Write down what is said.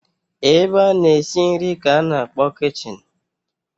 Ebe a na-esi nri ka a na-akpọ kichin.